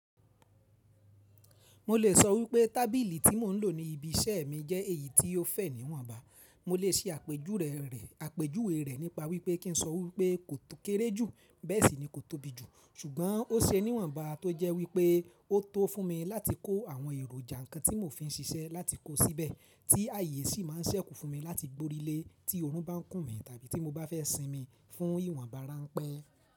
Mo lè sọ wípé tábìlì tí mò ń lò ní ibi iṣẹ́ mi jẹ́ èyí tí ó fẹ̀ níwọ̀nba. Mo lè ṣe àpe júwe rẹ àpèjúwe rẹ̀ nípa wípé kín sọ wípé kò tó kéré jù, bẹ́ẹ̀ sì ni kò tóbi jù, ṣùgbọ́n ó ṣe níwọ̀nba tó jẹ́ wípé ó tó fún mi láti kó àwọn èròjà ńkan tí mò fi ń ṣiṣẹ́ láti kó síbẹ̀, tí àyè sì má ń ṣẹ́kù fún mi láti gborílé tí oorun bá ń kùn mí tàbí tí mo bá fẹ́ sinmi fún ìwọ̀nba ránpẹ́.